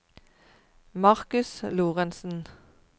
Markus Lorentsen